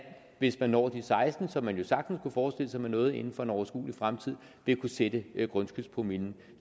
hvis man når de seksten promille hvilket man jo sagtens kunne forestille sig at man nåede inden for en overskuelig fremtid vil kunne sætte grundskyldspromillen